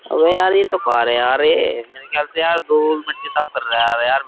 अबे यार ये तो कार है यार ये मेरे ख्याल से यार दूल मिट्टी साफ कर रहा है यार यार।